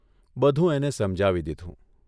બધું એને સમજાવી દીધું.